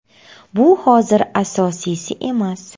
Bu hozir asosiysi emas.